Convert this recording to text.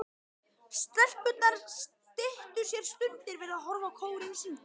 Stelpurnar styttu sér stundir við að horfa á kórinn syngja.